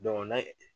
na